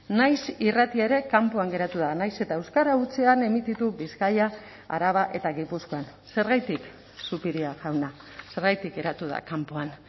naiz irrati ere kanpoan geratu da nahiz eta euskara hutsean emititu bizkaia araba eta gipuzkoan zergatik zupiria jauna zergatik geratu da kanpoan